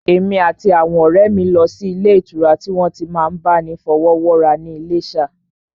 Èmi àti àwọn ọ̀rẹ́ mi lọ sí ilé ìtura tí wọ́n ti n máa bá ni fọwọ́wọ́ra ní Iléṣà